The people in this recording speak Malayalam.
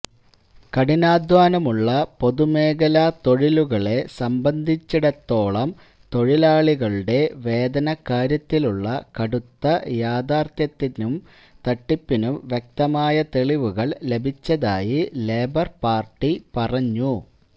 കഠിനാധ്വാനമുള്ള പൊതുമേഖലാ തൊഴിലുകളെ സംബന്ധിച്ചിടത്തോളം തൊഴിലാളികളുടെ വേതനക്കാര്യത്തിലുള്ള കടുത്ത യാഥാര്ഥ്യത്തിനും തട്ടിപ്പിനും വ്യക്തമായ തെളിവുകള് ലഭിച്ചതായി ലേബര് പാര്ട്ടി പറഞ്ഞു